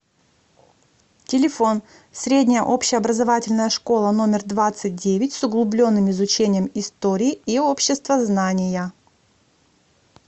телефон средняя общеобразовательная школа номер двадцать девять с углубленным изучением истории и обществознания